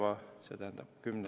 Aitäh, austatud ettekandja!